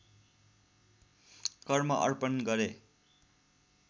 कर्म अर्पण गरे